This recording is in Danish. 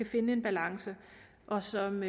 finde en balance og som